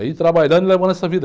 É ir trabalhando e levando essa vida.